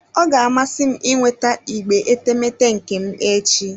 Ọ ga-amasị m ịnweta igbe etemeete nke m echi.